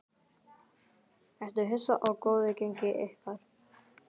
Ertu hissa á góðu gengi ykkar?